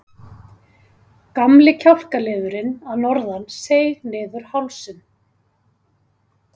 Gamli kjálkaliðurinn að norðan seig niður hálsinn.